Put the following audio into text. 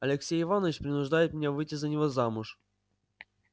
алексей иванович принуждает меня выйти за него замуж